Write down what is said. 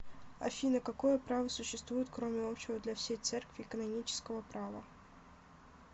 афина какое право существует кроме общего для всей церкви канонического права